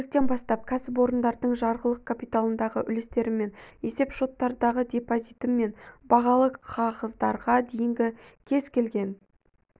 көліктен бастап кәсіпорындардың жарғылық капиталындағы үлестерім мен есеп шоттардағы депозитім мен бағалы қағаздарға дейінгі кез-келген